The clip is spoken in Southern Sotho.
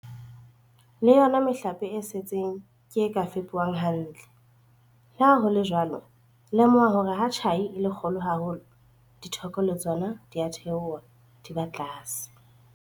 Le yona mehlape e setseng ke e ka fepuwang hantle. Le ha ho le jwalo, lemoha hore ha tjhai e le kgolo haholo, ditheko le tsona di a theoha, di ba tlase.